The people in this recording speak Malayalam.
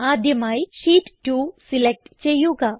ആദ്യമായി ഷീറ്റ് 2 സിലക്റ്റ് ചെയ്യുക